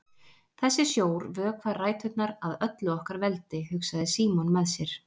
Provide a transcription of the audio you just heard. Þessi sjór vökvar ræturnar að öllu okkar veldi, hugsaði Símon með sér.